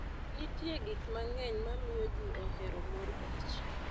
Nitie gik mang'eny ma miyo ji ohero mor kich.